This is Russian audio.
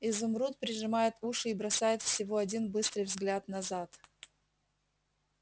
изумруд прижимает уши и бросает всего один быстрый взгляд назад